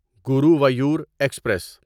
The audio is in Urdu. گرووایور ایکسپریس